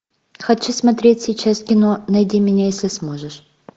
хочу смотреть сейчас кино найди меня если сможешь